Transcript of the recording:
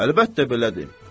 Əlbəttə belədir.